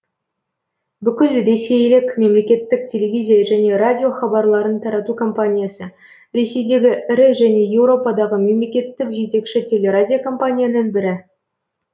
бүкіл ресейлік мемлекеттік телевизия және радио хабарларын тарату компаниясы ресейдегі ірі және еуропадағы мемлекеттік жетекші телерадиокомпанияның бірі